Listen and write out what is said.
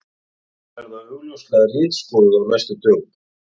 Þau verða augljóslega ritskoðuð á næstu dögum.